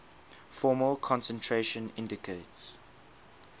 formal concentration indicates